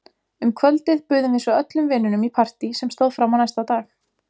Um kvöldið buðum við svo öllum vinunum í partí sem stóð fram á næsta dag.